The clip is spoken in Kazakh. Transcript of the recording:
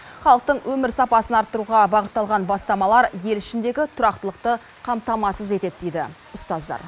халықтың өмір сапасын арттыруға бағытталған бастамалар ел ішіндегі тұрақтылықты қамтамасыз етеді дейді ұстаздар